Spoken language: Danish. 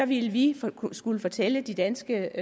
ville vi skulle fortælle de danske